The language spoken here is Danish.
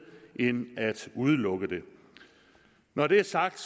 end at udelukke det når det er sagt